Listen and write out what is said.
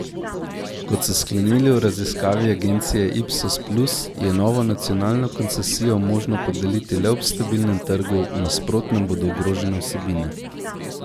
Kot so sklenili v raziskavi agencije Ipsos puls, je novo nacionalno koncesijo možno podeliti le ob stabilnem trgu, v nasprotnem bodo ogrožene vsebine.